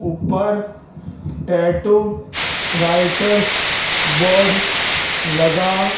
ऊपर tattoo writers board लगा--